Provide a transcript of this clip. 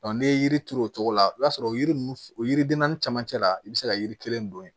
n'i ye yiri turu o cogo la i b'a sɔrɔ o yiri ninnu o yiriden naani camancɛ la i bɛ se ka yiri kelen don yen